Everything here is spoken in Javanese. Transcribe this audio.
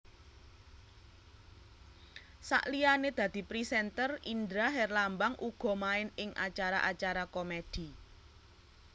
Saliyané dadi presenter Indra Herlambang uga main ing acara acara komedi